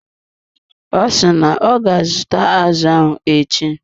Ọ si na ọ ga azụta azụ ahụ echi.